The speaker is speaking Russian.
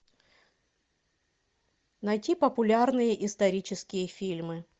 найти популярные исторические фильмы